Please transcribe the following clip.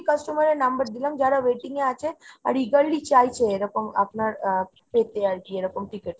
customer এর number দিলাম যারা waiting এ আছে। আর eagerly চাইছে এরকম আপনার আ পেতে আর কি এরকম tickets।